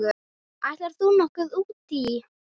Ætlar þú nokkuð út í?